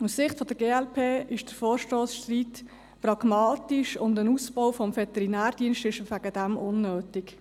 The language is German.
Aus Sicht der glp ist der Vorstoss Streit-Stettler pragmatisch, und seinetwegen den Veterinärdienst auszubauen, erachten wir als unnötig.